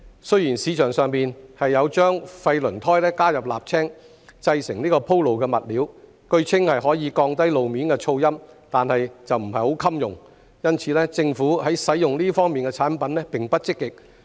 雖然市場上有將廢輪胎加入瀝青製成鋪路物料，據稱可降低路面噪音，但不太耐用，因此，政府在使用這些產品方面並不積極。